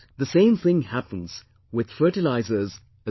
The same thing happens with fertilisers as well